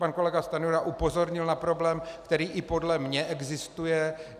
Pan kolega Stanjura upozornil na problém, který i podle mě existuje.